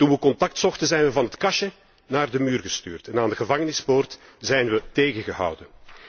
Toen we contact zochten, zijn we van het kastje naar de muur gestuurd en aan de gevangenispoort zijn we tegengehouden.